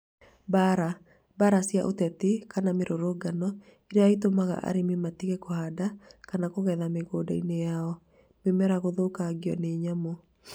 Mbaara: Mbaara cia ũteti kana mĩrũrũngano iria itũmaga arĩmi matige kũhanda kana kũgetha mĩgũnda-inĩ yao. Mĩmera gũthũkagio nĩ nyamũ.